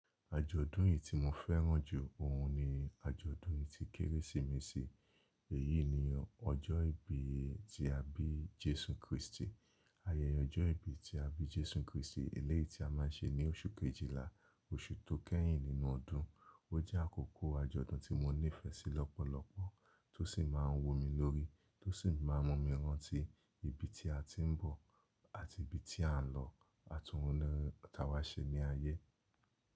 Ajòdún yìí tí mo féràn jù òun ní Ajòdún ti Kerésìmesì. Èyí ni ọjọ́ ìbí ti àbí Jésù Krìstì. Ayẹyẹ ọjọ́ ìbí ti àbí Jésù Krìstì èléyìí ti a máa ń ṣe ní oṣù kejila oṣù tó kẹ́yìn nínú ọdún. Ó jẹ́ àkókò àjọ̀dùn tí mo nífẹ̀ẹ́ sí lọ́pọ̀lọ́pọ̀, tó sì máa ń wú mi lórí, tó sì máa ń mú mi ránti ibi tí a ti ń bọ̀ àti ibi tí a ń lọ, àtúnú àwáṣẹ̀ ní ayé.